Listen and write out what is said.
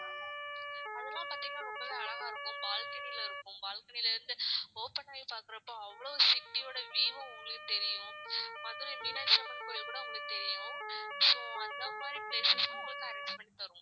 அதெல்லாம் பாத்தீங்கன்னா ரொம்பவே அழகா இருக்கும் balcony ல இருக்கும். balcony ல இருந்து open ஆயி பாக்குறப்போ அவ்வளவு city யோட view ம் உங்களுக்கு தெரியும். மதுரை மீனாட்சி அம்மன் கோவில் கூட உங்களுக்கு தெரியும் so அந்த மாதிரி place உம் உங்களுக்கு arrange பண்ணி தருவோம்.